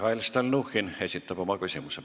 Mihhail Stalnuhhin esitab oma küsimuse.